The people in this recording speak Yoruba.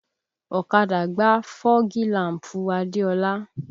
Ọ̀kadà gbá fọ́gi làm̀pù Adeola